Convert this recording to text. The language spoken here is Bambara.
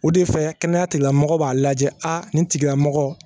O de fɛ kɛnɛyatigila mɔgɔw b'a lajɛ nin tigilamɔgɔ